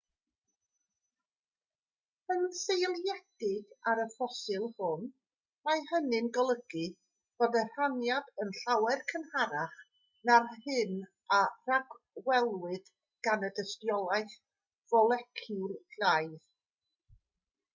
yn seiliedig ar y ffosil hwn mae hynny'n golygu bod y rhaniad yn llawer cynharach na'r hyn a ragwelwyd gan y dystiolaeth foleciwlaidd